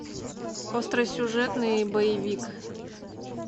остросюжетный боевик